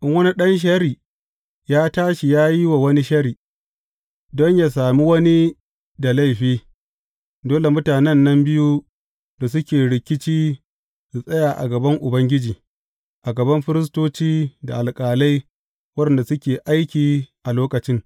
In wani ɗan sharri ya tashi ya yi wa wani sharri, don a sami wani da laifi, dole mutanen nan biyu da suke rikici su tsaya a gaban Ubangiji, a gaban firistoci da alƙalai waɗanda suke aiki a lokacin.